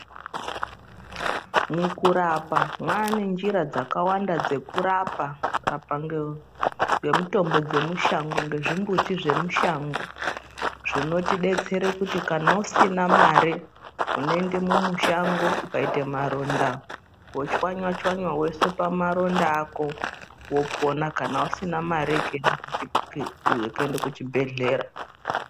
Mukurapa mwaane njira dzakawanda dzekurapa apange nemitombo dzemushango nezvimbuti zvemushango zvinotodetsere kana usina mare unoende mumushango ukaite maronda wochwanya chwanya woise pamaronda ako wopona kana usina mare yekuee ke yekuende kuchibhedhlera.